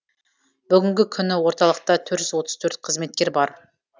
бүгінгі күні орталықта төрт жүз отыз төрт қызметкер бар